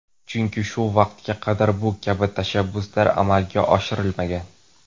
Chunki shu vaqtga qadar bu kabi tashabbuslar amalga oshirilmagan.